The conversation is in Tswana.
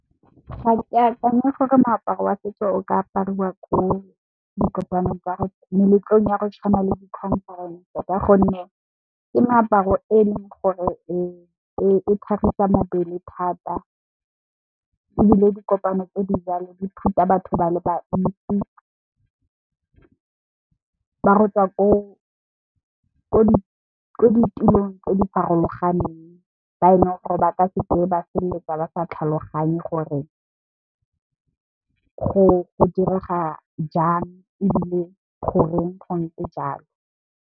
Ga ke akanye gore moaparo wa setso o ka apariwa ko dikopanong tsa, meletlong ya go tshwana le di khonferense ka gonne ke moaparo e leng gore e tlhagisa mobele thata. Ebile di kopano tse di jalo di thusa batho ba le bantsi ba gotswa ko di tulong tse di farologaneng, ba e leng gore ba ka seke ba feleletsa ba sa tlhaloganye gore go direga jang ebile goreng go ntse jalo.